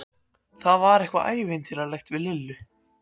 Það var eitthvað ævintýralegt við Lillu.